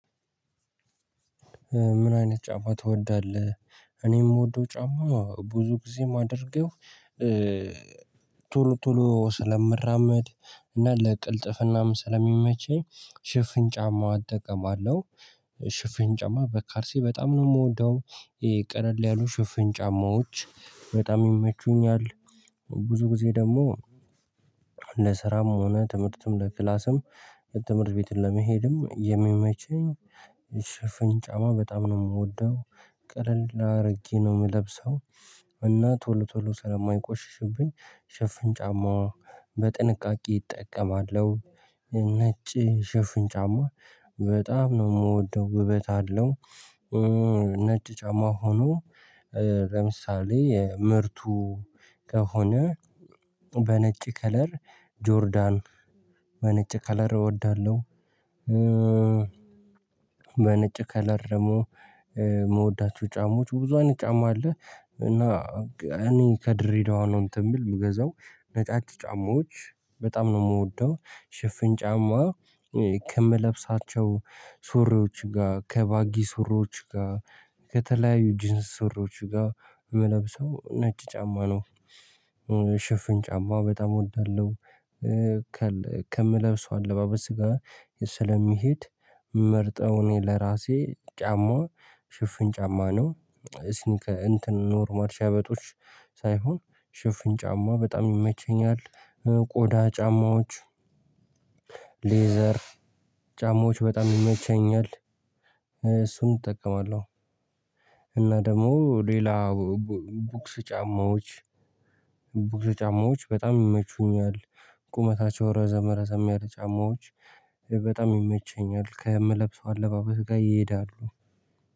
ምን? አይነት ጫማ ትወዳለህ እኔ የምወደው ጫማ ብዙ ጊዜ የማደርገው። ቶሎ ቶሎ ስለምራመድ እና ለቅልጥፍናም ስለሚመቸኝ ሽፍን ጫማው አጠቀማለሁ። ሽፍን ጫማ በካሊስ በጣም ነው የምወደው። ቀለል ያሉ ሽፍን ጫማዎች በጣም ይመቹኛል። ብዙ ጊዜ ደግሞ ለስራም ሆነ ትምህርትም ለክላስም ትምህርት ቤትን ለመሄድም የሚመቸኝ ሽፍን ጫማ በጣም ነው የምወደው። ቀለል አድርጌ ነው የምለብሰው እና ቶሎ ቶሎ ስለማይቆሽሽብኝ ሽፍን ጫማ በጥንቃቄ እጠቀማለሁ። ነጭ ሽፍን ጫማ በጣም ነው የምወደው ውበት አለው። ነጭ ጫማ ሆኖ ለምሳሌ ምርቱ ከሆነ በነጭ ከለር ጆርዳን በነጭ ከለር እወዳለሁ። በነጭ ከለር ደግሞ የምወዳቸው ጫማዎች ብዙ አንድ ጫማ አለ። እና እኔ ከድሬዳዋ ነው እንትን የምል የምገዛው ነጫጭ ጫማዎች። በጣም ነው የምወደው ሽፍን ጫማ ከምለብሳቸው ሱሪዎች ጋር ከባጊ ሱሪዎች ጋር ከተለያዩ ጅንስ ስሮች ጋር ምለብሰው ነጭ ጫማ ነው። ሽፍን ጫማ በጣም እወዳለሁ። ከምለብሰው አለባበስ ጋር ስለሚሄድ ምመርጠው እኔ ለራሴ ጫማ ሽፍን ጫማ ነው። እስንከ እንትን ኖርማር ሸበጦች ሳይሆን ሽፍን ጫማ በጣም ይመቸኛል። ቆዳ ጫማዎች ሌዘር ጫማዎች በጣም ይመቸኛል እሱን እጠቀማለሁ። እና ደግሞ ሌላ ቡክስ ጫማዎች ቡትስ ጫማዎች በጣም ይመቹኛል። ቁመታቸው ረዘመ ረዘም ያለ ጫማዎች በጣም ይመቸኛል ከምለብሰው አለባበስ ጋር ይሄዳሉ